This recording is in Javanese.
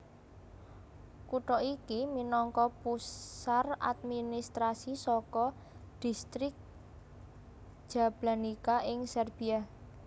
Kutha iki minangka pusar administrasi saka Dhistrik Jablanica ing Serbia